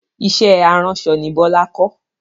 Iṣẹ́ aránṣọ ni Bọlá kọ́